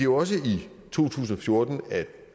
også i to tusind og fjorten